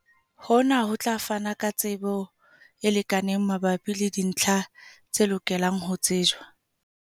Hona ho tla fana ka tsebo e lekaneng mabapi le dintlha tse lokelang ho tsejwa.